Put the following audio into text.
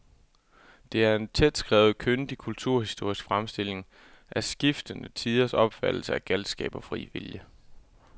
Det er en tætskrevet, kyndig kulturhistorisk fremstilling af skiftende tiders opfattelse af galskab og fri vilje.